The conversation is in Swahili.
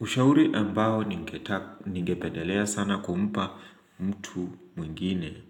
Ushauri ambao ningepedelea sana kumpa mtu mwingine